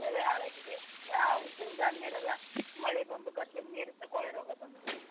ಬೆಳೆ ಹಾಳಾಗಿದೆ ಆ ಉದ್ದಿನ ಧಾನ್ಯ ಎಲ್ಲ ಮಳೆ ಬಂದು ಗದ್ದೆಯಲ್ಲಿ ನೀರು ನಿಂತು ಕೊಳೆ ರೋಗ ಬಂದಿದೆ.